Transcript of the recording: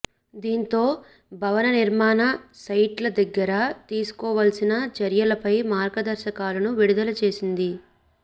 దీంతో భవన నిర్మాణ సైట్ల దగ్గర తీసుకోవాల్సిన చర్యలపై మార్గదర్శకాలను విడుదల చేసింది